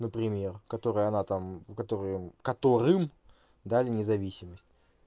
например которые она там которым которым дали независимость